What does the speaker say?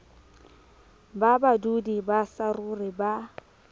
ba badudi ba saruri ba